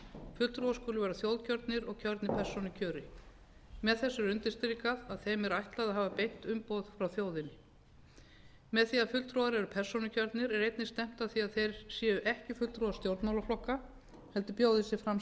fulltrúar skulu vera þjóðkjörnir og kjörnir persónukjöri með þessu er undirstrikað að þeim er ætlað að hafa beint umboð frá þjóðinni með því að fulltrúar eru persónukjörnir er einnig stefnt að því að þeir séu ekki fulltrúar stjórnmálaflokka heldur bjóði sig fram